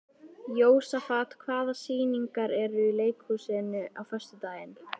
Jósafat, hvaða sýningar eru í leikhúsinu á föstudaginn?